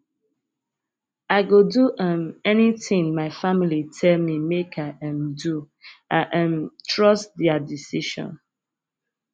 i go do um anything my family tell me make i um do i um trust their decision